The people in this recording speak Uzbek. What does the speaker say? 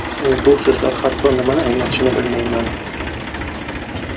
Men bu so‘zlar hatto nimani anglatishini bilmayman.